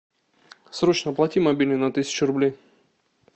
срочно оплати мобильный на тысячу рублей